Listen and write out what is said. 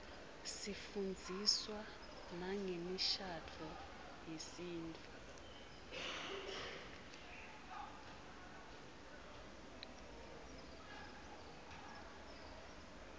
sifundziswa nangemishadvo yesintfu